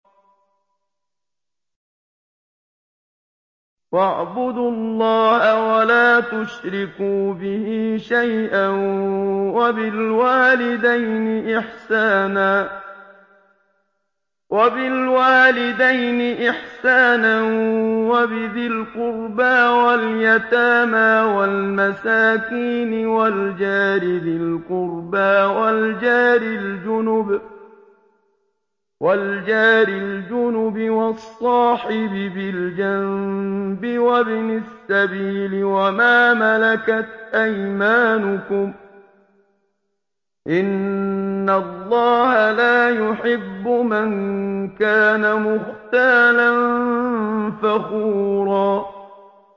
۞ وَاعْبُدُوا اللَّهَ وَلَا تُشْرِكُوا بِهِ شَيْئًا ۖ وَبِالْوَالِدَيْنِ إِحْسَانًا وَبِذِي الْقُرْبَىٰ وَالْيَتَامَىٰ وَالْمَسَاكِينِ وَالْجَارِ ذِي الْقُرْبَىٰ وَالْجَارِ الْجُنُبِ وَالصَّاحِبِ بِالْجَنبِ وَابْنِ السَّبِيلِ وَمَا مَلَكَتْ أَيْمَانُكُمْ ۗ إِنَّ اللَّهَ لَا يُحِبُّ مَن كَانَ مُخْتَالًا فَخُورًا